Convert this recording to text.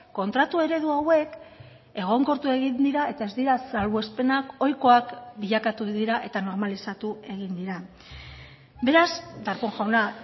kontratu eredu hauek egonkortu egin dira eta ez dira salbuespenak ohikoak bilakatu dira eta normalizatu egin dira beraz darpón jauna